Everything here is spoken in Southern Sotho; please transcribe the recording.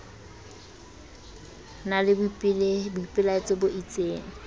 na le boipelaetso bo isteng